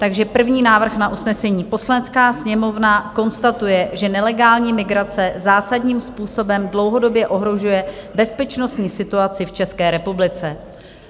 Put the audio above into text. Takže první návrh na usnesení: "Poslanecká sněmovna konstatuje, že nelegální migrace zásadním způsobem dlouhodobě ohrožuje bezpečnostní situaci v České republice."